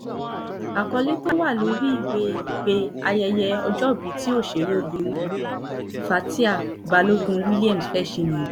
àkọlé tó wà lórí ìwé ìpè ayẹyẹ ọjọ́bí tí òṣèrébìnrin nni fatia balogun williams fẹ́ẹ́ ṣe nìyẹn